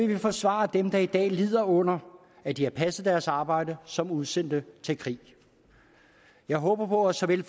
vi forsvare dem der i dag lider under at de har passet deres arbejde som udsendte til krig jeg håber at såvel